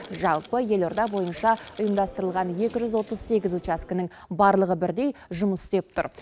жалпы елорда бойынша ұйымдастырылған екі жүз отыз сегіз учаскенің барлығы бірдей жұмыс істеп тұр